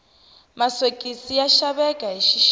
masokisi ya xaveka hi xixika